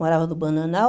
Morava no Bananal.